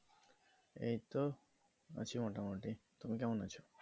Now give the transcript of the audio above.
এই তো। আছি মোটামুটি, তুমি কেমন আছো?